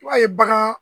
I b'a ye bagan